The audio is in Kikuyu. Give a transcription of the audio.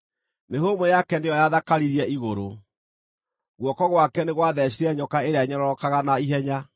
Mĩhũmũ yake nĩyo yathakaririe igũrũ; guoko gwake nĩ gwatheecire nyoka ĩrĩa ĩnyororokaga na ihenya.